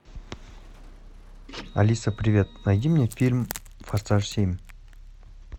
алиса привет найди мне фильм форсаж семь